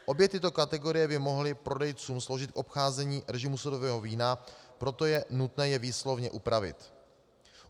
Obě tyto kategorie by mohly prodejcům sloužit k obcházení režimu sudového vína, proto je nutné je výslovně upravit.